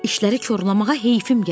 İşləri korlamağa heyfim gəldi.